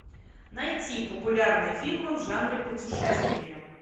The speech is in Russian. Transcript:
найти популярные фильмы в жанре путешествие